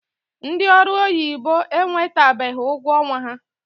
Ndị ọrụ oyibo enwetabeghi ụgwọ ọnwa ha.